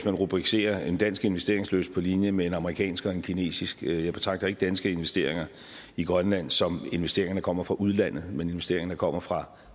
man rubricerer en dansk investeringslyst på linje med en amerikansk og en kinesisk jeg betragter ikke danske investeringer i grønland som investeringer der kommer fra udlandet men investeringer der kommer fra